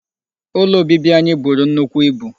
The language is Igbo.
Ụlọ obibi anyị buru nnukwu ibu.